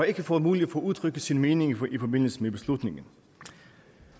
ikke fået mulighed for at udtrykke sin mening i forbindelse med beslutningerne